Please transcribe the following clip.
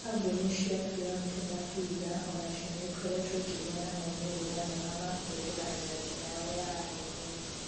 Kambuni cia BioNte na Pfizer o nacio nĩ ikoretwo ikĩgĩa na maumĩrĩra mega ma kũhũthĩra njajo yao ya RNA.